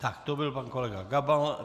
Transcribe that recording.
Tak to byl pan kolega Gabal.